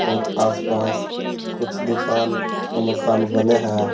और आसपास कुछ दुकान और मकान बने हैं।